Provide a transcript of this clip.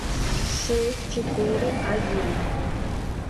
шесть четыре один